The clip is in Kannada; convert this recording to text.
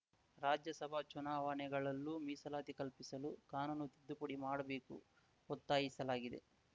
ರಾಜ್ಯ ಸಭಾ ಚುನಾವಣೆಗಳಲ್ಲೂ ಮೀಸಲಾತಿ ಕಲ್ಪಿಸಲು ಕಾನೂನು ತಿದ್ದುಪಡಿ ಮಾಡಬೇಕು ಒತ್ತಾಯಿಸಲಾಗಿದೆ